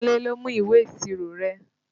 Kúnlé ló mú ìwé ìṣirò rẹ